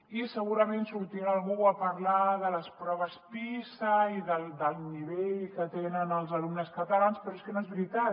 i segurament sortirà algú a parlar de les proves pisa i del nivell que tenen els alumnes catalans però és que no és veritat